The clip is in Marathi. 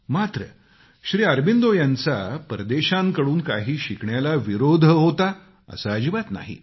मात्र श्री अरबिंदो यांचा परदेशांकडून काही शिकण्याला विरोध होता असे अजिबात नाही